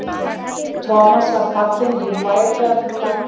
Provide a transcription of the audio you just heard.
Thomas var fallinn í værðarlegt mók þegar einhver ræskti sig við hlið hans.